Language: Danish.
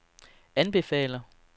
anbefaler